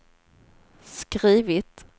skrivit